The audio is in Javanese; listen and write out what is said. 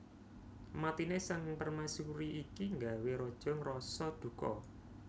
Matine Sang Permaisuri iki nggawé Raja ngrasa duka